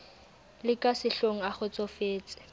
le ka sehlohong a kgotsofetse